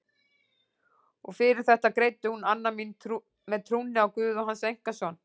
Og fyrir þetta greiddi hún Anna mín með trúnni á guð og hans einkason.